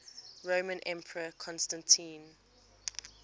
roman emperor constantine